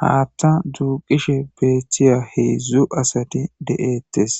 Haththa duqishe betiya heedzdzu nati deates